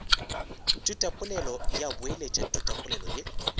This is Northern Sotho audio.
thutapolelo ya boeletša thutapolelo ye